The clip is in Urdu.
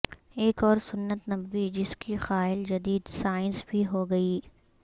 ایک اور سنت نبوی جس کی قائل جدید سائنس بھی ہو گئی